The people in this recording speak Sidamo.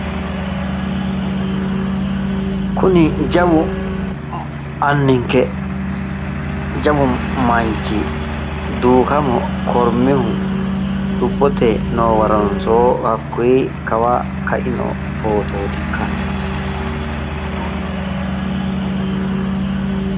Kuni jawu anninke jawu manchi Duukamo Kormihu lubbotey noo waronsoo hakkuyi Kawa kaino photootikka?